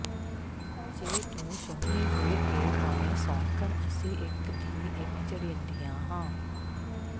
ਜੇ ਤੂੰ ਸੋਹਣੀ ਹੋਇਕੇ ਪਵੇਂ ਸੌਕਣ ਅਸੀਂ ਇੱਕ ਥੀਂ ਇੱਕ ਚੜ੍ਹੇਂਦੀਆਂ ਹਾਂ